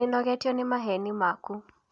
Nĩ nogetio ni maheni maku